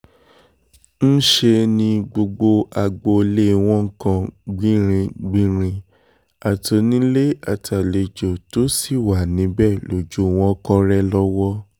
níṣẹ́ ni gbogbo agboolé wọn kan gbìnrín-gbinrin àtònílé àtàlejò tó sì wà níbẹ̀ lójú wọn kọ́rẹ́ lọ́wọ́